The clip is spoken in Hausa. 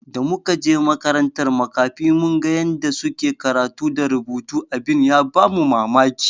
Da muka je makarantar makafi mun ga yanda suke karatu da rubutu abin ya bamu mamaki.